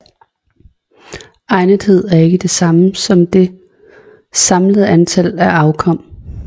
Egnethed er ikke det samme som det samlede antal af afkom